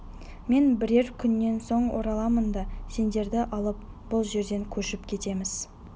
мен бірер күннен соң ораламын да сендерді алып бұл жерден көшіп кетеміз